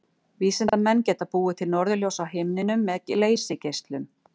Vísindamenn geta búið til norðurljós á himninum með leysigeislum.